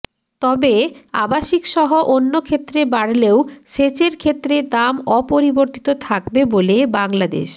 তবে আবাসিকসহ অন্য ক্ষেত্রে বাড়লেও সেচের ক্ষেত্রে দাম অপরিবর্তিত থাকবে বলে বাংলাদেশ